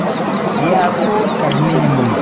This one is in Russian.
я тут как минимум